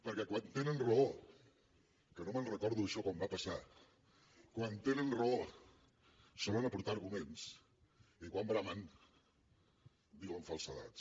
perquè quan tenen raó que no me’n recordo això quan va passar solen aportar arguments i quan bramen diuen falsedats